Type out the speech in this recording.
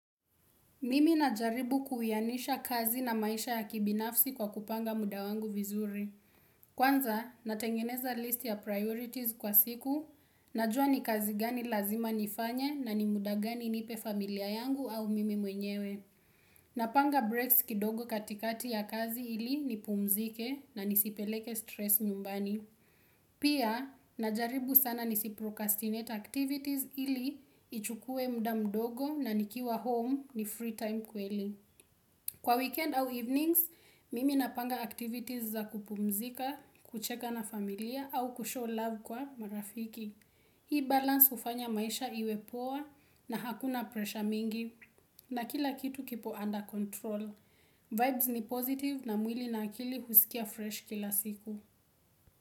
Mimi najaribu kuwianisha kazi na maisha ya kibinafsi kwa kupanga muda wangu vizuri. Kwanza, natengeneza list ya priorities kwa siku, najua ni kazi gani lazima nifanya na ni muda gani nipe familia yangu au mimi mwenyewe. Napanga breaks kidogo katikati ya kazi ili nipumzike na nisipeleke stress nyumbani. Pia, najaribu sana nisiprocrastinate activities ili ichukue muda mdogo na nikiwa home ni free time kweli. Kwa weekend au evenings, mimi napanga activities za kupumzika, kucheka na familia au kushow love kwa marafiki. Hii balance hufanya maisha iwe poa na hakuna pressure mingi na kila kitu kipo under control. Vibes ni positive na mwili na akili husikia fresh kila siku.